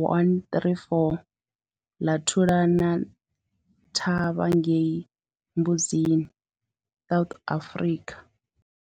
134 ḽa thulana thavha ngei Mbuzini, South Africa.